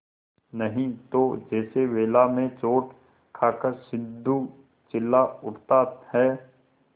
नहीं तो जैसे वेला में चोट खाकर सिंधु चिल्ला उठता है